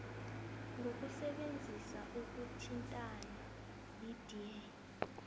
ngokusebenzisa ukuthintana yidea